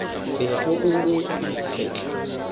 bego o o agile ka